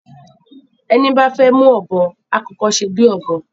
Ẹní bá fẹ́ mú Ọ̀bọ́, á kọ́kọ́ sèbí Ọ̀bọ́